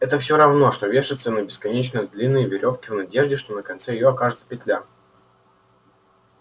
это всё равно что вешаться на бесконечно длинной верёвке в надежде что на конце её окажется петля